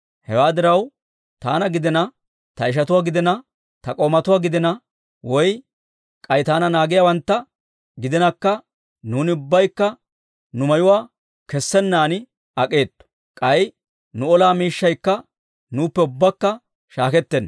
Hewaa diraw, taana gidina, ta ishatuwaa gidina, ta k'oomatuwaa gidina, woy k'ay taana naagiyaawantta gidinakka, nuuni ubbaykka nu mayuwaa kessennaan ak'eetto; k'ay nu ola miishshaykka, nuuppe ubbakka shaakettenna.